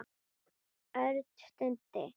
Örn stundi.